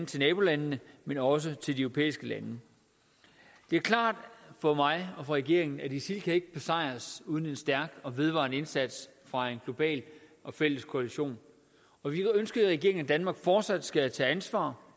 til nabolandene men også til de europæiske lande det er klart for mig og for regeringen at isil ikke kan besejres uden en stærk og vedvarende indsats fra en global og fælles koalition og vi ønsker i regeringen at danmark fortsat skal tage ansvar